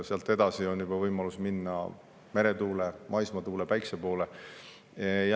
Sealt edasi on juba võimalus minna meretuule, maismaatuule ja päikese poole.